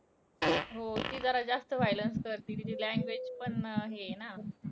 हो ती जरा जास्त violence करती. तिची language पण अं हे आहे ना.